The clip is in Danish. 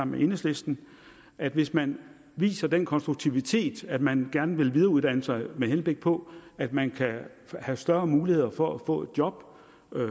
med enhedslisten at hvis man viser den konstruktivitet at man gerne vil videreuddanne sig med henblik på at man kan have større muligheder for at få et job